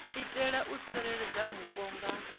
itela u tsireledza vhupo nga